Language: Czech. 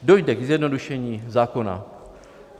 Dojde k zjednodušení zákona."